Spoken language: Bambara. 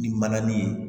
Ni mananin ye